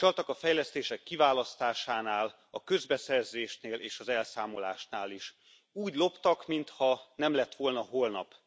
Csaltak a fejlesztések kiválasztásánál, a közbeszerzéseknél és az elszámolásnál is úgy loptak, mintha nem lett volna holnap.